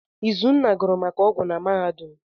Izunna gụrụ maka ọgwụ na mahadum.